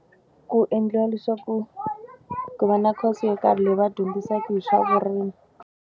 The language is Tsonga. Ku endliwa leswaku ku va na course yo karhi leyi va dyondzisaka hi swa vurimi.